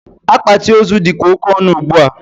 Akpati ozu dịkwa oke ọnụ ugbua.